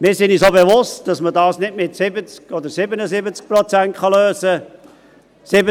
Wir sind uns auch bewusst, dass man dies nicht mit 70 oder 77 Prozent lösen kann.